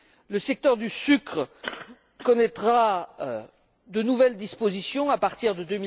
Le secteur du sucre connaîtra de nouvelles dispositions à partir de